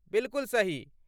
बिलकुल सही।